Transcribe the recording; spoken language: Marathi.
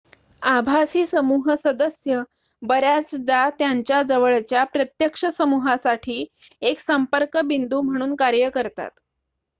आभासी समूह सदस्य बऱ्याचदा त्यांच्या जवळच्या प्रत्यक्ष समूहासाठी एक संपर्क बिंदू म्हणून कार्य करतात